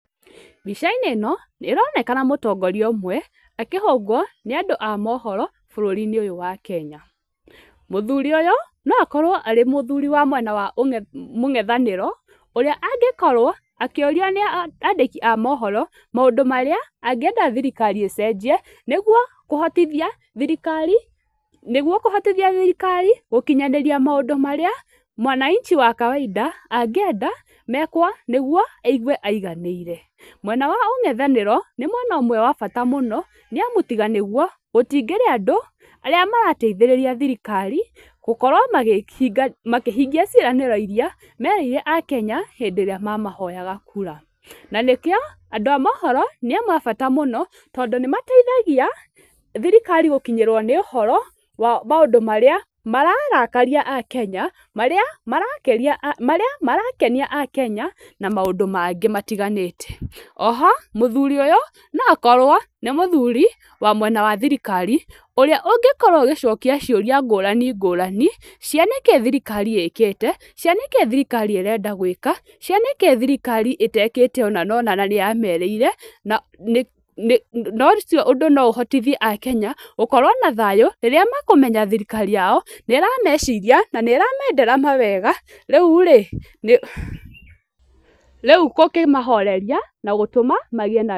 Mbica-inĩ ĩno nĩ ĩronekana mũtongoria ũmwe akĩhũngwo nĩ andũ a mohoro bũrũri-inĩ ũyũ wa Kenya. Mũthurĩ ũyũ no akorwo arĩ mũthuri wa mwena wa mũngethanĩro, ũrĩa angĩkorwo akĩũrio nĩ andĩki a mohoro maũndũ marĩa angĩenda thirikari ĩcenjie, nĩguo kũhotithia thirikari, nĩguo kũhotithia thirikari gũkinyanĩria maũndũ marĩa wananchi wa kawainda angĩenda mekwo, nĩguo aigue aiganĩire. Mwena wa ũngethanĩro, nĩ mwena ũmwe wa bata mũno, nĩ amu tiga nĩo gũtingĩrĩ andũ arĩa marateithĩrĩria thirikari, gũkorwo makĩhingia ciĩranĩro irĩa merĩire akenya hĩndĩ ĩrĩa mamahoyaga kura. Na nĩkĩo andũ a mohoro nĩ amwe a bata mũno, tondũ nĩ mateithagia, thirikari gũkinyĩrwo nĩ ũhoro wa maũndũ marĩa mararakaria akenya, marĩa marakenia akenya na maũndũ mangĩ matiganĩte. O ho mũthuri ũyũ no akorwo nĩ mũthuri wa mwena wa thirikari ũrĩa ũngĩkorwo agĩcokia ciũrĩa ngũrani ngũrani cia nĩkĩ thirikari ĩkĩte, cia nĩkĩ thirikari ĩrenda gwĩka, cia nĩkĩ thirikari ĩtekĩte cia ũna na ũna na nĩyamerĩire, na ũcio ũndũ no ũhotithie akenya, gũkorwo na thayũ rĩrĩa makũmenya thirikari yao nĩ ĩrameciria, na nĩ ĩramendera mawega, rĩu-rĩ gũkĩmahoreria na gũtuma magĩe na...